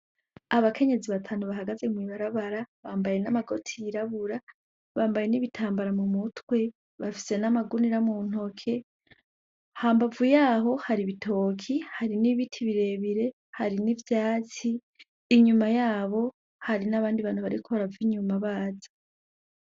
Abakenyezi batanu bahagaze mw'ibarabara bambaye n'amagoti yirabura bambaye n'ibitambara mu mutwe bafise n'amagunira mu ntoke, hambavu yaho hari ibitoke hari n'ibiti birebire hari n'ivyatsi, inyuma yabo hari n'abandi bantu bariko barava inyuma baza.